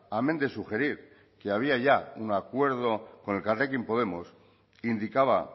amén de sugerir que había ya un acuerdo con elkarrekin podemos indicaba